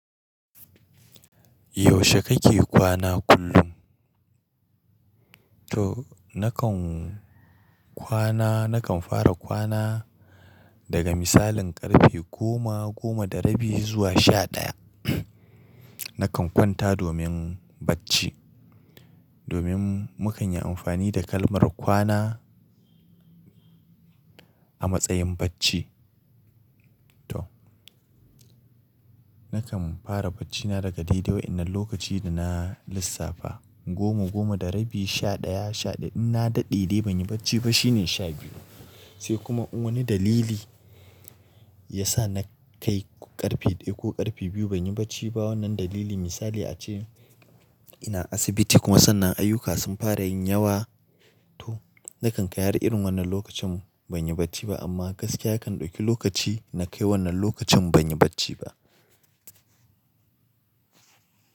Yaushe kake kwana kullum? To nakan kwana, nakan fara kwana daga misalin ƙarfe goma, goma da rabi zuwa sha ɗaya. Nakan kwanta domin bacci. Domin mu kan yi amfani da kalmar kwana a matsayin bacci. To nakan fara baccina daga dai dai wainnan lokaci da na lissafa goma, goma da rabi, sha ɗaya, sha ɗaya. In na daɗe dai ban yi bacci ba shine sha biyu. Sai kuma wani dalili ya sa na kai ƙarfe ɗaya ko ƙarfe biyu ban yi bacci ba. Wannan dalili misali ace ina asibiti kuma sannan ayyuka sun fara yin yawa. To nakan kai har irin wannan lokacin ban yi bacci ba amma gaskiya kan ɗauki lokaci na kai wannan lokacin ban yi bacci ba.